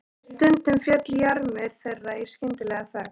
Stundum féll jarmur þeirra í skyndilega þögn.